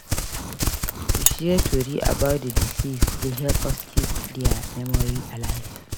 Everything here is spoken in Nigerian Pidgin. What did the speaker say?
To share tori about the deceased dey help us keep their memory alive.